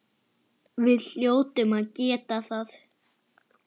Við hljótum að geta það.